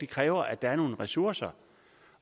kræver at der er nogle ressourcer